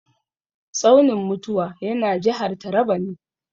Tsaunin mutuwa yana jihar Taraba ne.